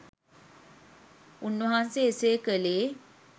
උන්වහන්සේ එසේ කළේ